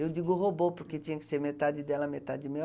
Eu digo roubou, porque tinha que ser metade dela, metade meu.